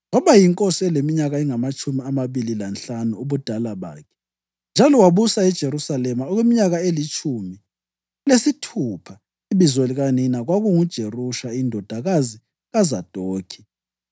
Waba yinkosi eleminyaka engamatshumi amabili lanhlanu ubudala bakhe, njalo wabusa eJerusalema okweminyaka elitshumi lesithupha. Ibizo likanina kwakunguJerusha indodakazi kaZadokhi.